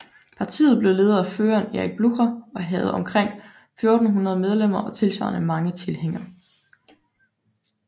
Partiet blev ledet af føreren Erik Blücher og havde omkring 1400 medlemmer og tilsvarende mange tilhængere